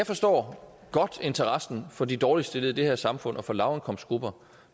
forstår interessen for de dårligst stillede i det her samfund og for lavindkomstgrupper